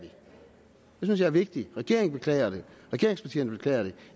vi jeg er vigtigt regeringen beklager det regeringspartierne beklager det